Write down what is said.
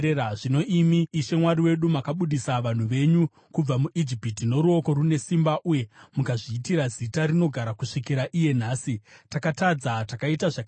“Zvino, imi Ishe Mwari wedu, makabudisa vanhu venyu kubva muIjipiti noruoko rune simba uye mukazviitira zita rinogara kusvikira iye nhasi, takatadza, takaita zvakaipa.